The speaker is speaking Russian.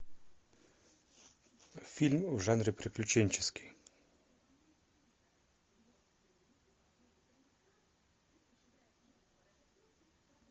фильм в жанре приключенческий